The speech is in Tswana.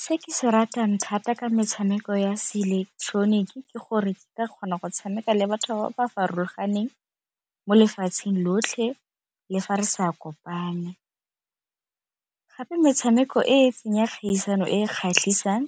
Se ke se ratang thata ka metshameko ya se ileketeroniki ke gore ke ka kgona go tshameka le batho ba ba farologaneng mo lefatsheng lotlhe le fa re sa kopane, gape metshameko e fenya kgaisano e kgatlhisang